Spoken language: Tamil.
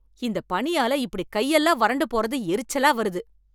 இந்தப் பனியால் இப்படி கை எல்லாம் வறண்டு போறது எரிச்சலா வருது